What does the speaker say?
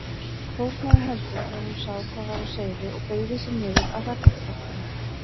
Fórnaði höndum þegar hún sá hvað var á seyði og beygði sig niður að hrakfallabálknum.